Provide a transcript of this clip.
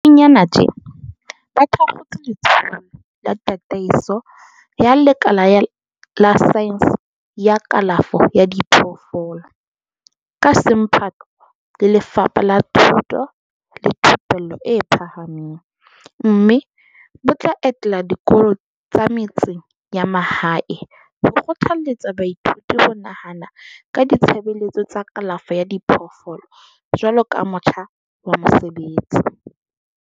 Haufinyana tjena ba thakgotse Letsholo la Tataiso ya Lekala la Saense ya Kalafo ya Diphoofolo, ka semphato le Lefapha la Thuto le Thupello e Phahameng, mme bo tla etela dikolo tsa metseng ya mahae ho kgothaletsa baithuti ho nahana ka ditshebeletso tsa kalafo ya diphoofolo jwaloka motjha wa mosebetsi.